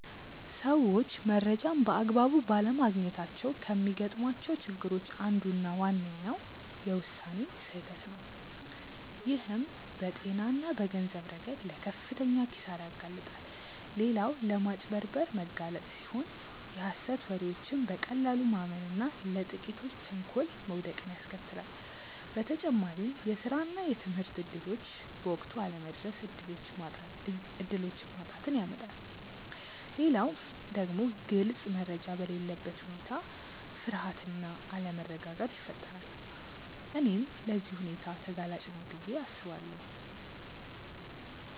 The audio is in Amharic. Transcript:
ሰዎች መረጃን በአግባቡ ባለማግኘታቸው ከሚገጥሟቸው ችግሮች አንዱና ዋነኛው የውሳኔ ስህተት ነው፣ ይህም በጤና እና በገንዘብ ረገድ ለከፍተኛ ኪሳራ ያጋልጣል። ሌላው ለማጭበርበር መጋለጥ ሲሆን የሀሰት ወሬዎችን በቀላሉ ማመን እና ለጥቂቶች ተንኮል መውደቅን ያስከትላል። በተጨማሪም የስራ እና የትምህርት እድሎች በወቅቱ አለመድረስ እድሎችን ማጣትን ያመጣል። ሌላው ደግሞ ግልጽ መረጃ በሌለበት ሁኔታ ፍርሃት እና አለመረጋጋት ይፈጠራል። እኔም ለዚህ ሁልጊዜ ተጋላጭ ነኝ ብዬ አስባለሁ።